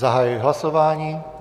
Zahajuji hlasování.